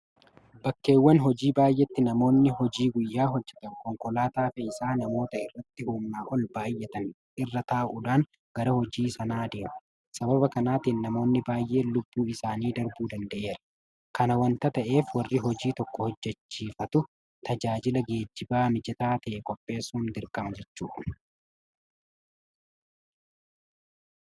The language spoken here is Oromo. Bakkeewwan hojii baay'eetti namoono hojii guyyaa hojjetan konkolaataa fe'isa namootaa irratti humnaa ol baay'atanii irra taa'uudhan gara hojii sanaa deemu. Sababa kanaatiin namoonni baay'een lubbuun isaanii darbuu danda'eera. Kana waanta ta'eef warri hojii tokko hojjechiifatu tajaajila geejibaa mijataa ta'e qopheessuun dirqama jechuudha.